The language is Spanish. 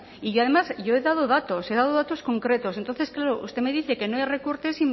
y yo además yo he dado datos he dado datos concretos entonces claro usted me dice que no hay recortes